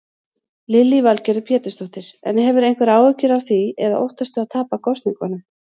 Lillý Valgerður Pétursdóttir: En hefurðu einhverjar áhyggjur af því eða óttastu að tapa kosningunum?